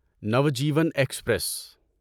Navjeevan express